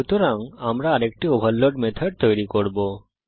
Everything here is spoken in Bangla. সুতরাং আমরা আরেকটি ওভারলোড মেথড তৈরী করব